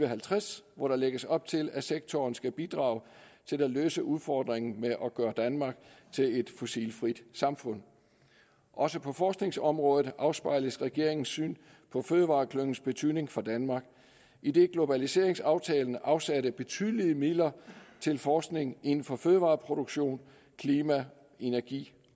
halvtreds hvor der lægges op til at sektoren skal bidrage til at løse udfordringen med at gøre danmark til et fossilfrit samfund også på forskningsområdet afspejles regeringens syn på fødevareklyngens betydning for danmark idet globaliseringsaftalen afsatte betydelige midler til forskning inden for fødevareproduktion klima energi